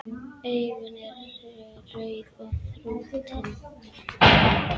Augun eru rauð og þrútin.